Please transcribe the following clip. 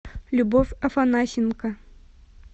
любовь афанасенко